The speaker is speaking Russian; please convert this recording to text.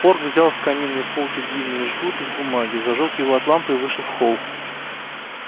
порк взял с каминной полки длинный жгут из бумаги зажёг его от лампы и вышел в холл